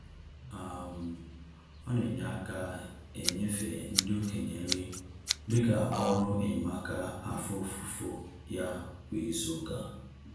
um Ọ na-enye aka enyefe ndị okenye nri dịka ọrụ enyemaka afọ ofufo ya kwa izuụka.